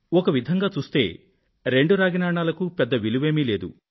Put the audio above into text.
ఒక విధంగా చూస్తే రెండు రాగి నాణాలకు పెద్ద విలువేమీ లేదు